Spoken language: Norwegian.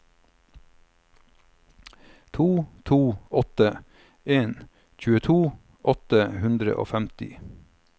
to to åtte en tjueto åtte hundre og femti